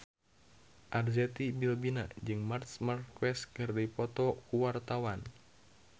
Arzetti Bilbina jeung Marc Marquez keur dipoto ku wartawan